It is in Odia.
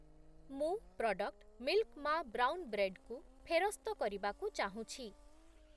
ମୁଁ ପ୍ରଡ଼କ୍ଟ୍‌ ମିଲ୍କ ମା ବ୍ରାଉନ୍ ବ୍ରେଡ୍ କୁ ଫେରସ୍ତ କରିବାକୁ ଚାହୁଁଛି ।